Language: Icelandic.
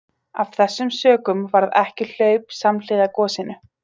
Af þessum sökum varð ekki hlaup samhliða gosinu.